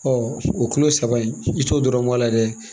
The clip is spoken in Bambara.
o kulo saba in i t'o dɔrɔn k'a la dɛ